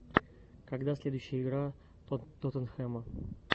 когда следующая игра тоттенхэма